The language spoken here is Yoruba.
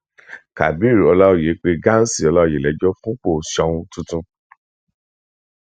kabir ọláòyè pé ghansi ọláòyè lẹjọ fúnpọ soun tuntun